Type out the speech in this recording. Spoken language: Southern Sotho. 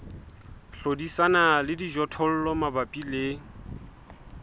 hlodisana le dijothollo mabapi le